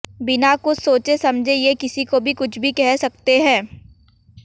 बिना कुछ सोचे समझे ये किसी को भी कुछ भी कह सकते हैं